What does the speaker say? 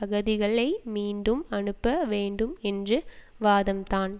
அகதிகளை மீண்டும் அனுப்ப வேண்டும் என்று வாதம்தான்